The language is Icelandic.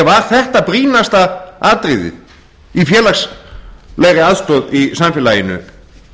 var þetta brýnasta atriðið í félagslegri aðstoð í samfélaginu